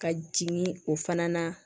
Ka jigin o fana na